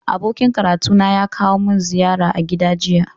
Abokin karatuna ya kawo min ziyara a gida jiya